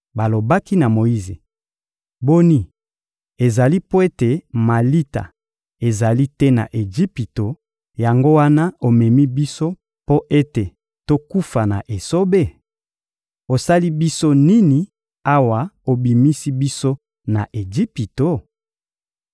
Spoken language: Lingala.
Balobaki na Moyize: — Boni, ezali mpo ete malita ezali te na Ejipito, yango wana omemi biso mpo ete tokufa na esobe? Osali biso nini awa obimisi biso na Ejipito?